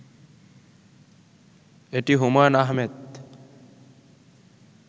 এটি হুমায়ূন আহমেদ